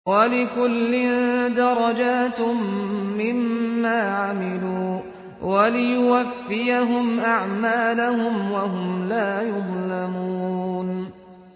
وَلِكُلٍّ دَرَجَاتٌ مِّمَّا عَمِلُوا ۖ وَلِيُوَفِّيَهُمْ أَعْمَالَهُمْ وَهُمْ لَا يُظْلَمُونَ